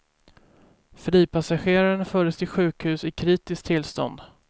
Fripassageraren fördes till sjukhus i kritiskt tillstånd.